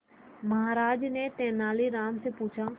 महाराज ने तेनालीराम से पूछा